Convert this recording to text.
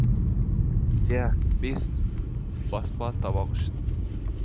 иә бес баспа табақ үшін